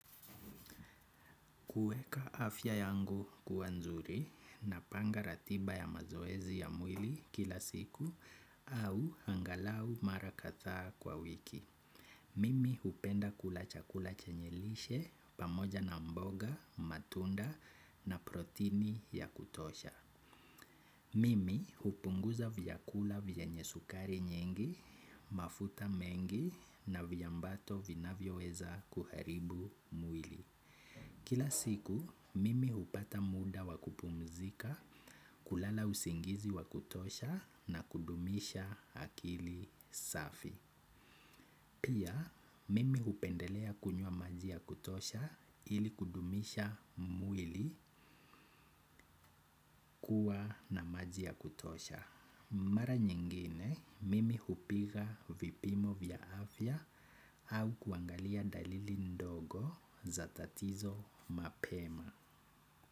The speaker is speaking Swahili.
Kuweka afya yangu kuwa nzuri napanga ratiba ya mazoezi ya mwili kila siku au angalau mara kadhaa kwa wiki Mimi hupenda kula chakula chenye lishe pamoja na mboga, matunda na protini ya kutosha. Mimi hupunguza vyakula venye sukari nyingi, mafuta mengi na viambato vinavyoweza kuharibu mwili. Kila siku mimi hupata muda wa kupumzika, kulala usingizi wa kutosha na kudumisha akili safi. Pia, mimi hupendelea kunywa maji ya kutosha ili kudumisha mwili kuwa na maji ya kutosha. Mara nyingine, mimi hupiga vipimo vya afya au kuangalia dalili ndogo za tatizo mapema.